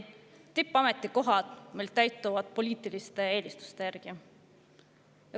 Tippametikohad täituvad meil poliitiliste eelistuste järgi.